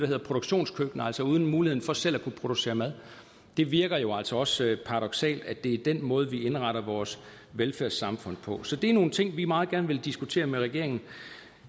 hedder produktionskøkkener altså uden mulighed for selv at kunne producere mad det virker jo altså også paradoksalt at det er den måde vi indretter vores velfærdssamfund på så det er nogle ting vi meget gerne vil diskutere med regeringen